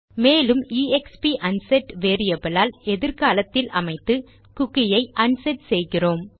மேலும் எக்ஸ்ப் unset variable ஆல் எதிர்காலத்தில் அமைத்து குக்கியை அன்செட் செய்கிறோம்